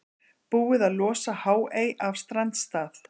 Búið að losa Háey af strandstað